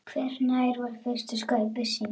Hvenær var fyrsta skaupið sýnt?